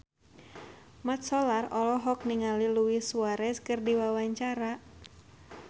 Mat Solar olohok ningali Luis Suarez keur diwawancara